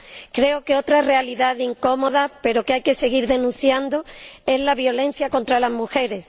Creo que otra realidad incómoda, pero que hay que seguir denunciando, es la violencia contra las mujeres.